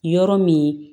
Yɔrɔ min